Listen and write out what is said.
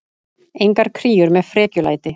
Engar kríur með frekjulæti.